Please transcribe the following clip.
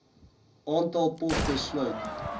aantal poste sluit